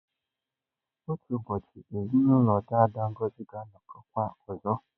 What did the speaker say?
Otu ụbọchị, ezinụlọ daada Ngozi ga-anọkọkwa ọzọ.